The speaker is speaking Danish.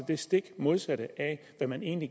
det stik modsatte af hvad man egentlig